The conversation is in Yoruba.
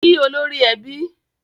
Kí olórí ẹbí!